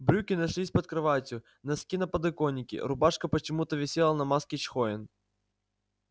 брюки нашлись под кроватью носки на подоконике рубашка почему-то висела на маске чхоен